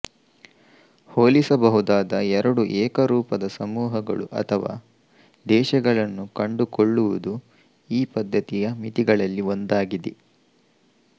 ಹೋಲಿಸಬಹುದಾದ ಎರಡು ಏಕರೂಪದ ಸಮೂಹಗಳು ಅಥವಾ ದೇಶಗಳನ್ನು ಕಂಡುಕೊಳ್ಳುವುದು ಈ ಪದ್ಧತಿಯ ಮಿತಿಗಳಲ್ಲಿ ಒಂದಾಗಿದೆ